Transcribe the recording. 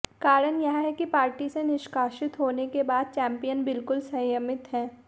कारण यह कि पार्टी से निष्कासित होने के बाद चैंपियन बिल्कुल संयमित हैं